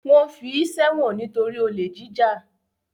Wọ́n fi í sẹ́wọ̀n nítorí olè jíjà.